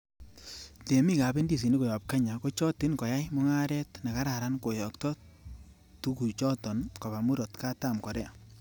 Temik ab indisinik koyob Kenya, kochotin koyai mungaret nekararan koyokto tugu choton koba Murot katam Korea.